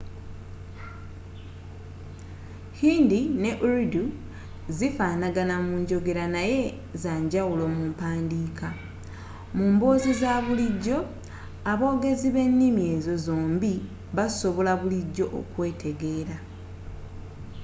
hindi ne urdu zifaanagana mu njogera naye zanjawulo mu mpandiika mu mboozi zabulijjo aboogezi bennimi ezo zombie basobola bulijjo okwetegera